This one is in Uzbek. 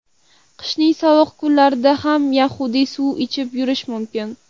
Qishning sovuq kunlarida ham yaxday suv ichib yurish mumkin.